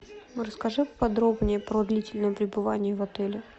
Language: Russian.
расскажи подробнее про длительное пребывание в отеле